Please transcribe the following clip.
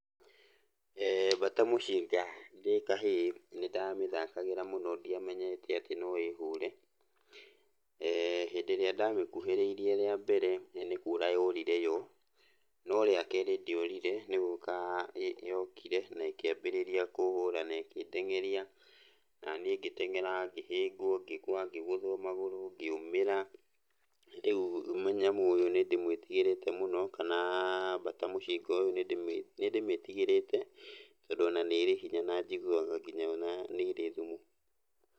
Mbata mũcinga, ndĩ kahĩĩ, nĩndamĩthakagĩra mũno ndiamenyete atĩ no ĩhũre. Hindĩ ĩrĩa ndamĩkuhĩrĩirie rĩa mbere, nĩ kũra yorire yo, no rĩa kerĩ ndĩorire nĩgũka yokire, na ĩkĩambĩrĩria kũhũra na ĩkĩndengeria, naniĩ ngĩtengera, ngĩhĩngwo, ngĩgwa, ngĩgũthwo magũrũ, ngĩũmĩra. Rĩu mũnyamũ ũyũ nĩndĩmwĩtigĩrĩte mũno, kana mbata mũcinga ũyũ nĩndĩmĩtigĩrĩte, tondũ ona nĩ ĩrĩ hinya na njiguaga nginya ona nĩrĩ thumu.